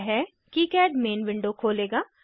यह KiCad main window खोलेगा